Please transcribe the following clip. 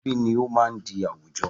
Ẹbí ni ó máa ń di àwùjọ